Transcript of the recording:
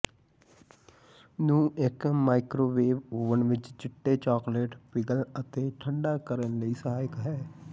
ਨੂੰ ਇੱਕ microwave oven ਵਿੱਚ ਚਿੱਟੇ ਚਾਕਲੇਟ ਪਿਘਲ ਅਤੇ ਠੰਢਾ ਕਰਨ ਲਈ ਸਹਾਇਕ ਹੈ